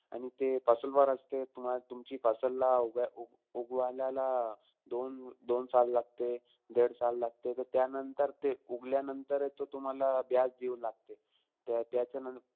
आणि ते वर असते. तुम तुमची ला उ उगवायलायला दोन दोन साल लागते-देड साल लागते. त त्यानंतर ते, उगल्यानंतर, ते तो तुम्हाला देऊ लागते त्याचं,